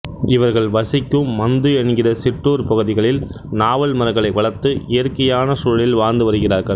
இவர்கள் வசிக்கும் மந்து என்கிற சிற்றூர் பகுதிகளில் நாவல் மரங்களை வளர்த்து இயற்கையான சூழலில் வாழ்ந்து வருகிறார்கள்